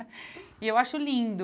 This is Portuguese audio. E eu acho lindo.